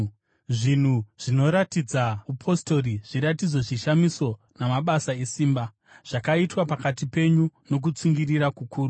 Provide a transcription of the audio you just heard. Zvinhu zvinoratidza upostori, zviratidzo, zvishamiso namabasa esimba, zvakaitwa pakati penyu nokutsungirira kukuru.